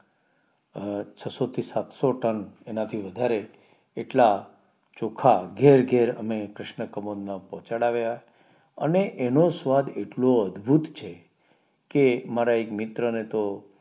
અ છસો થી સાતસો ટન એનાથી વધારે એટલા ચોખા ઘેર ઘેર અમે ક્રિષ્નાકમાલઃ માં પોહ્ચાડવ્યા અને એનો સ્વાદ એટલો અદભુત છે કે મારા એક મિત્ર ને તો